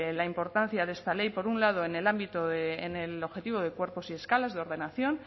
la importancia de esta ley por un lado en el ámbito de en el objetivo de cuerpos y escalas de ordenación